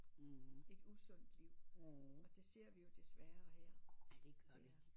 Et usundt liv og det ser vi jo desværre her